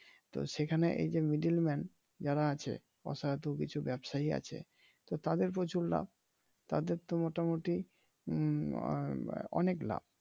তো সেখানে এই যে middleman যারা আছে অসাধু কিছু ব্যবসায়ী আছে তো তাদের প্রচুর লাভ তাদের তো মোটামোটি হম আহ অনেক লাভ।